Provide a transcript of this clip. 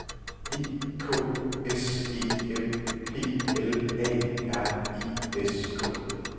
E K S E M P L A R I S K